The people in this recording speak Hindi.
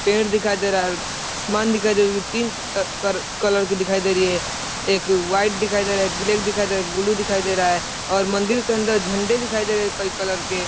पेड़ दिखाई दे रहा है। आसमान दिखाई दे तीन क कलर की दिखाई दे रही है। एक व्हाइट दिखाई दे रहा है। एक ब्लैक दिखाई दे रहा है। ब्लू दिखाई दे रहा है और मंदिर के अंदर झंडे दिखाई दे रहे हैं कई कलर के।